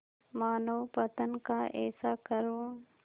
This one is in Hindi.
मानवपतन का ऐसा करुण